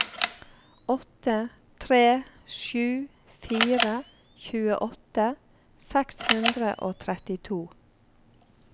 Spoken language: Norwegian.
åtte tre sju fire tjueåtte seks hundre og trettito